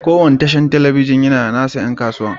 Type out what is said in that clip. Kowane tashar talabijin yana da nasa 'yan kasuwa.